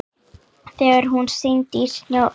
Þegar hún synti í sjónum.